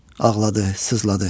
Ağladı, sızladı.